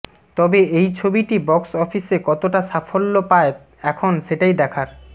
তবে এই ছবিটি বক্স অফিসে কতটা সাফল্যা পায় এখন সেটাই দেখার